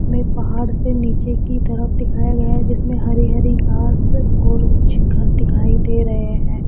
में पहाड़ से नीचे की तरफ दिखाया गया है जिसमें हरी हरी घास और कुछ घर दिखाई दे रहे हैं।